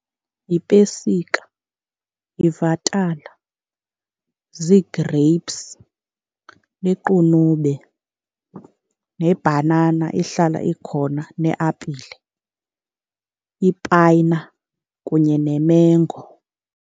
Yipesika, yivatala, zii-grapes, liqunube, nebhanana ihlala ikhona, neapile, ipayina, kunye nemengo.